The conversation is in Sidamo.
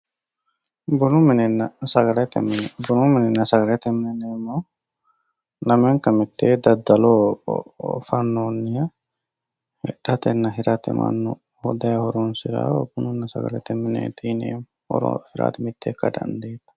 bunu minenna sagalete mine bunu minenna sagalete mine yineemmohu lamenka mitee daddaloho fannoonniho hidhatenna hirate mannu daye horonsirawoha sagalete mine yineemmo horosi mitte ikka dandiitanno